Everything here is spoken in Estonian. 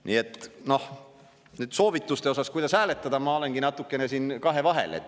Nii et nüüd soovituste mõttes, kuidas hääletada, ma olengi natuke kahevahel.